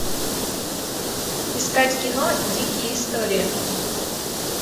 искать кино дикие истории